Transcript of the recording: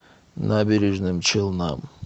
набережным челнам